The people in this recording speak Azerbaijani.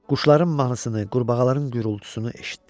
Quşların mahnısını, qurbağaların gurultusunu eşitdi.